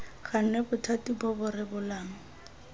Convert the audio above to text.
gannwe bothati bo bo rebolang